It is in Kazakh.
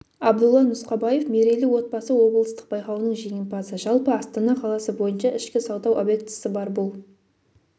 абдулла нұсқабаев мерейлі отбасы облыстық байқауының жеңімпазы жалпы астана қаласы бойынша ішкі сауда объектісі бар бұл